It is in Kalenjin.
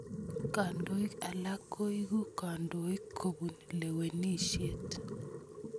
Kandoik alak koeku kandoik kopun lewenisiet.